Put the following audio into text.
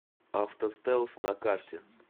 автостэлс на карте